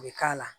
U bɛ k'a la